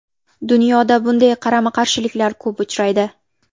Dunyoda bunday qarama-qarshiliklar ko‘p uchraydi.